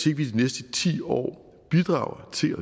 i de næste ti år at bidrage til